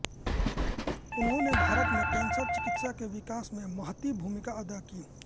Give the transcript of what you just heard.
उन्होने भारत में कैंसर चिकित्सा के विकास में महती भूमिका अदा की